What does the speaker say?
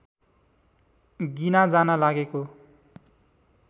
गिना जान लागेको